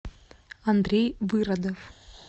андрей выродов